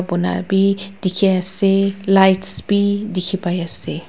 Bonabi dekhe ase lights bhi dekhe pai ase.